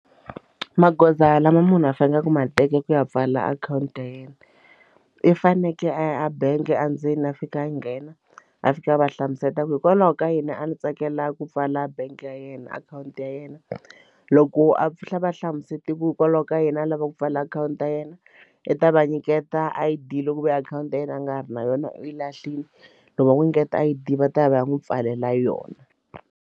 Magoza lama munhu a faneleke ma teka ku ya pfala akhawunti ya yena i fanekele a ya a bangi endzeni a fika a nghena a fika a va hlamuseta ku hikwalaho ka yini a ndzi tsakela ku pfala bangi ya yena akhawunti ya yena loko a a va hlamusete ku hikwalaho ka yini a lava ku pfala akhawunti ta yena i ta va nyiketa a I_D loko ku ve akhawunti ya yena a nga ha ri na yona u yi lahlile loko u va n'wi nyiketa I_D va ta ya va ya n'wi pfalela yona.